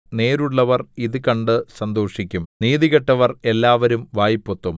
നേരുള്ളവർ ഇതു കണ്ട് സന്തോഷിക്കും നീതികെട്ടവർ എല്ലാവരും വായ് പൊത്തും